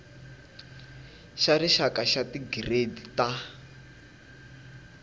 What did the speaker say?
xa rixaka xa tigiredi ta